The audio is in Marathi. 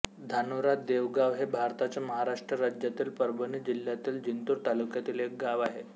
धानोरा देवगाव हे भारताच्या महाराष्ट्र राज्यातील परभणी जिल्ह्यातील जिंतूर तालुक्यातील एक गाव आहे